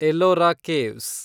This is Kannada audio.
ಎಲ್ಲೋರ ಕೇವ್ಸ್